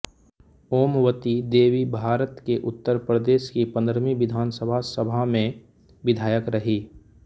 ओमवती देवीभारत के उत्तर प्रदेश की पंद्रहवी विधानसभा सभा में विधायक रहीं